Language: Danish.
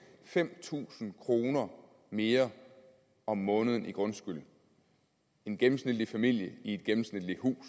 fem tusind kroner mere om måneden i grundskyld en gennemsnitlig familie i et gennemsnitligt hus